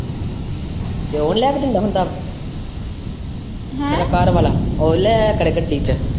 ਪਿਓ ਲਿਆ ਕੇ ਦਿੰਦਾ ਹੁੰਦਾ? ਤੇਰਾ ਘਰਵਾਲਾ ਉਹ ਲੈ ਆਯਾ ਕਰੇ ਗੱਡੀ ਚੇ।